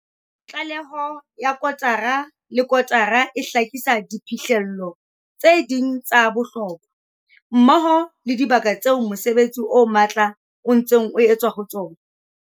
Tlaleho ya kotara le kotara e hlakisa diphihlello tse ding tsa bohlokwa, mmoho le dibaka tseo mosebetsi o matla o ntseng o etswa ho tsona.